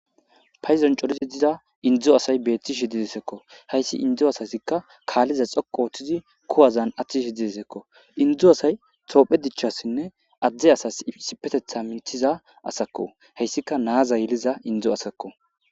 Payizon corizi diza indzo asay beettishi didesekko hayssi indzo asasikka kaalliza xoqo ooththizi kuwazan attishi didesekko indzu asay toophe dichchassinne adde asas sipetetha mintiza asakko heyssika naaza yeliza indzo asakko.